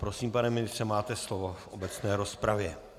Prosím, pane ministře, máte slovo v obecné rozpravě.